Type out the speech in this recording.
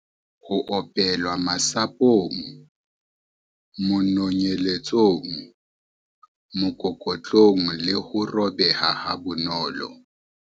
Ho opelwa- Masapong, manonyeletsong, mokokotlong le ho robeha ha bonolo.